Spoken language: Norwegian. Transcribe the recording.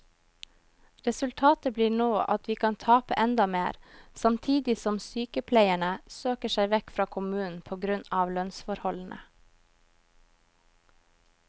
Resultatet blir nå at vi kan tape enda mer, samtidig som sykepleierne søker seg vekk fra kommunen på grunn av lønnsforholdene.